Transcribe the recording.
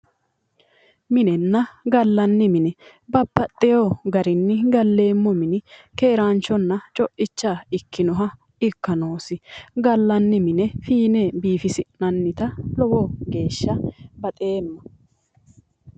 Minenna gallanni mine babbaxewo garinni galleemmo mini keeraanchonna coicha ikkinoha ikka noosi. gallanni mine biifisi'nannita lowo geeshsha baxeemma.